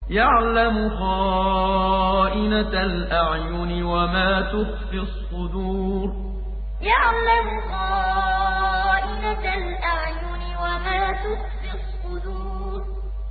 يَعْلَمُ خَائِنَةَ الْأَعْيُنِ وَمَا تُخْفِي الصُّدُورُ يَعْلَمُ خَائِنَةَ الْأَعْيُنِ وَمَا تُخْفِي الصُّدُورُ